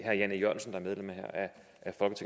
jørgensen